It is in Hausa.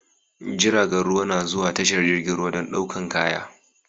Jiragan ruwa na zuwa tashar jirgin ruwa dan ɗaukan kaya